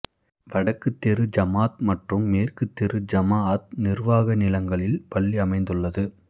வடக்குத்தெரு ஜமாத் மற்றும் மேற்கு தெரு ஜமா அத் நிர்வாக நிலங்களில் பள்ளி அமைந்த்துள்ளது